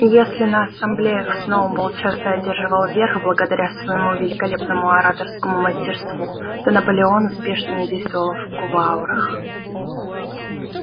и если на ассамблеях сноуболл часто одерживал верх благодаря своему великолепному ораторскому мастерству то наполеон успешнее действовал в кулуарах